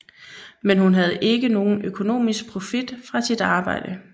Men hun havde ikke nogen økonomisk profit fra sit arbejde